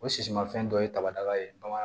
O sisimafɛn dɔ ye daba ye bamanan